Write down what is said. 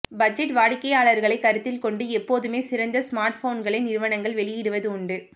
budget வாடிக்கையாளர்களை கருத்தில் கொண்டு எப்போதுமே சிறந்த ஸ்மார்ட்போன்களை நிறுவனங்கள் வெளியிடுவது உண்டு